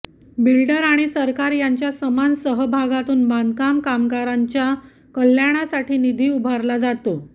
builder आणि सरकार यांच्या समान सहभागातून बांधकाम कामगारांच्या कल्याणासाठी निधी उभारला जातो